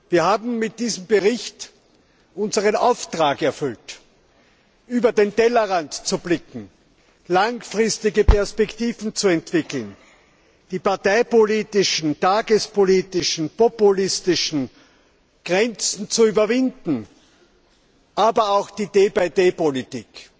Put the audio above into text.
Wir haben mit diesem Bericht unseren Auftrag erfüllt, über den Tellerrand zu blicken, langfristige Perspektiven zu entwickeln, die parteipolitischen, tagespolitischen, populistischen Grenzen zu überwinden, aber auch die Politik.